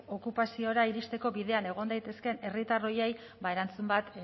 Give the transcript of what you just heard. okupazioa iristeko bidean egon daitezkeen herritar horiei erantzun bat